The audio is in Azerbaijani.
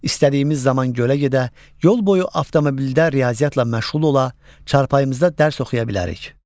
İstədiyimiz zaman gölə gedə, yol boyu avtomobildə riyaziyyatla məşğul ola, çarpayımızda dərs oxuya bilərik.